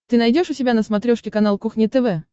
ты найдешь у себя на смотрешке канал кухня тв